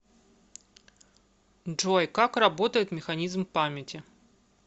джой как работает механизм памяти